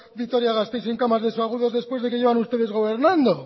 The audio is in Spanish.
vitoria gasteiz sin camas de subagudos después de que llevan ustedes gobernando